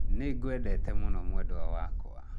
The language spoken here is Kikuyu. Ningwendete mũno mwendwa wakwa